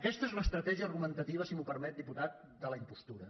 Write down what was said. aquesta és l’estratègia argumentativa si m’ho permet diputat de la impostura